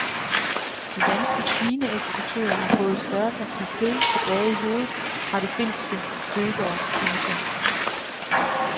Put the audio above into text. De danske svineeksportører har fået et større parti kød tilbage i hovedet fra de finske købere. punktum